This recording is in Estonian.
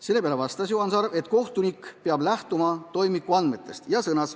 Juhan Sarv vastas, et kohtunik peab lähtuma toimikuandmetest.